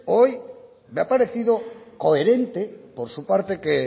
hoy me ha parecido coherente por su parte que